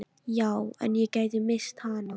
Já, en ég gæti misst hana